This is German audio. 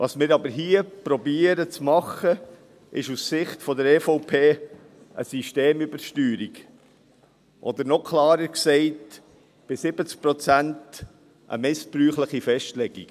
Was wir aber hier zu machen versuchen, ist aus Sicht der EVP eine Systemübersteuerung, oder noch klarer gesagt: bei 70 Prozent eine missbräuchliche Festlegung.